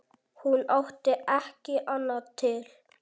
Hún átti ekki annað til.